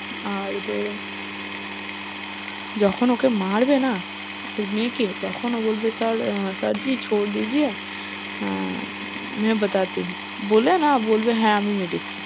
আর তোর যখন ওকে মারবে না, ওর মেয়েকে তখন ও বলবে sir আহ sir আহ বলে না বলবে হ্যাঁ আমি মেরেছি।